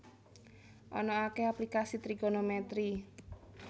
Ana akèh aplikasi trigonomètri